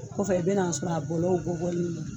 Kɔfɛ i bɛ n'a sɔrɔ a bɔlɔw bɔ bɔni don